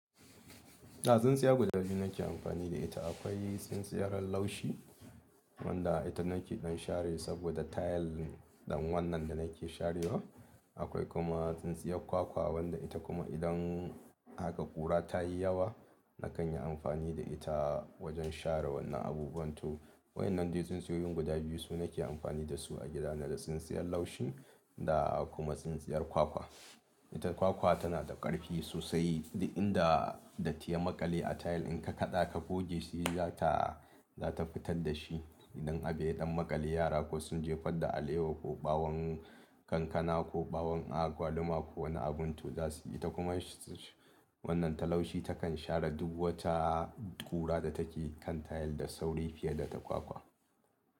Da tsintsiya guda biyu nake amfani da ita. Akwai tsintsiyar laushi wadda ita nake don share saboda tile ɗan wannan da nake sharewa. Akwai kuma tsintsiyar kwakwa wadda ita kuma idan haka ƙura ta yi yawa, na kan yi amfani da ita wajen share wannan abubuwan tu. Wa'yannan dai tsintsiyoyin guda biyu su nake amfani da su a gida, na da tsintsiyar laushi da kuma tsintsiyar kwakwa. Ita kwakwa tana da ƙarfi sosai, da inda da tiya maƙale a tile in ka kaɗa ka goge shi za ta, za ta fitar da shi. Idan abu ya ɗan maƙale yara ko sun jefar da alewa ko ɓawon kankana ko ɓawon agwaluma ko wani abu tu za su yi. Ta kuma wannan ta laushi takan share duk wata ƙura da take kan tile da sauri fiye da ta kwakwa.